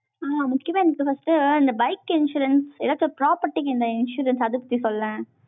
அஹ் முக்கியமா first இந்த bike insurance ஏதாச்சும் property என்ன insurance அதுப் எப்படி சொல்லேன்